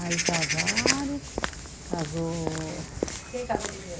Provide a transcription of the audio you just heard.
Aí casaram, casou. Quem casou primeiro?